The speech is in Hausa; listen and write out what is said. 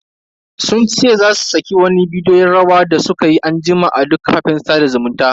Sun ce za su saki wani bidiyon rawa da sukayi anjima a duk kafafen sada zumuntan.